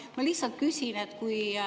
Ma lihtsalt küsin.